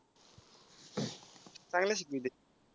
चांगल शिकवतय.